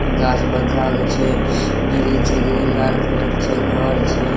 गाछ बड़का गो छे। ग्रील छे ग्रील लाल कलर के छे घर छे।